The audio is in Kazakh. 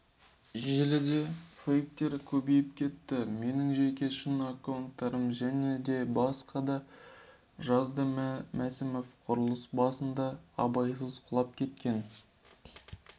желідефейктер көбейіп кетті менің жеке шын аккаунттарым және деп жазды мәсімов құрылыс басында абайсызда құлап кеткен